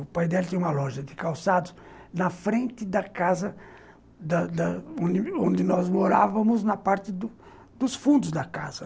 O pai dela tinha uma loja de calçados na frente da casa da da onde nós morávamos, na parte dos fundos da casa.